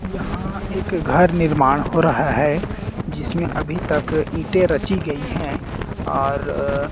यहां एक घर निर्माण हो रहा है जिसमें अभी तक ईंटें रची गई हैं और --